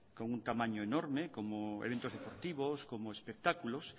con un tamaño enorme como eventos deportivos como espectáculos